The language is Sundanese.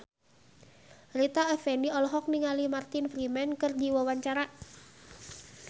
Rita Effendy olohok ningali Martin Freeman keur diwawancara